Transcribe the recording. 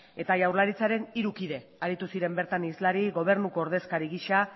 eta jaurlaritzaren hiru kide aritu ziren bertan hizlari gobernuko ordezkari gisa